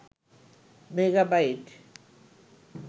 megabyte